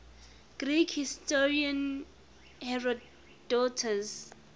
greek historian herodotus